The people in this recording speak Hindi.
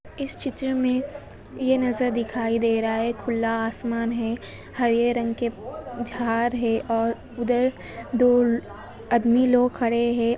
इस चित्र मे यह नजर दिखाई दे रहा है खुला आसमान है हरे रंग के झार है और उधर दो अदमी लोग खड़े हैं ।